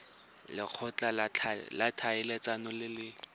lekgotla la ditlhaeletsano le le